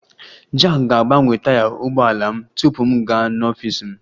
Jack ga-agbanwe taya ụgbọ ala m tupu m gaa n'ọfịs m